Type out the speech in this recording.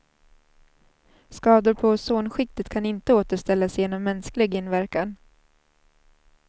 Skador på ozonskiktet kan inte återställas genom mänsklig inverkan.